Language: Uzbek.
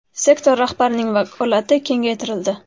Sektor rahbarining vakolati kengaytirildi.